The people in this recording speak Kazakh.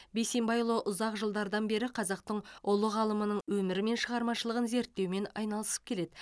бейсенбайұлы ұзақ жылдардан бері қазақтың ұлы ғалымының өмірі мен шығармашылығын зерттеумен айналысып келеді